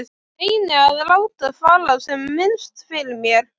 Reyni að láta fara sem minnst fyrir mér.